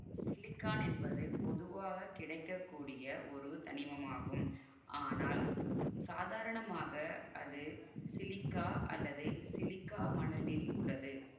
silicon என்பது பொதுவாக கிடைக்க கூடிய ஒரு தனிமமாகும் ஆனால் சாதரணமாக அது சிலிக்கா அல்லது சிலிக்கா மணலில் உள்ளது